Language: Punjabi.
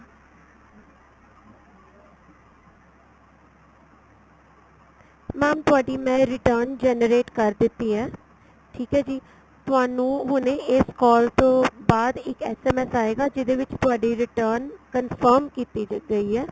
mam ਤੁਹਾਡੀ ਮੈਂ return generate ਕਰ ਦਿੱਤੀ ਏ ਠੀਕ ਏ ਜੀ ਤੁਹਾਨੂੰ ਹੁਣੇ ਇਸ call ਤੋਂ ਬਾਅਦ ਇੱਕ SMS ਆਏਗਾ ਜਿਹਦੇ ਵਿੱਚ ਤੁਹਾਡੀ return confirm ਕੀਤੀ ਗਈ ਏ